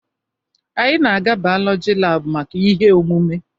Anyị na-aga bayolọjị laabụ maka ihe omume.